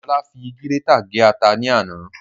Ola fi gírétà gé ata ní àná